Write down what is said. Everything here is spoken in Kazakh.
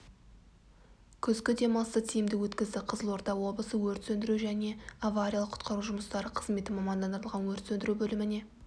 күзгі демалысты тиімді өткізді қызылорда облысы өрт сөндіру және авариялық-құтқару жұмыстары қызметі мамандандырылған өрт сөндіру бөліміне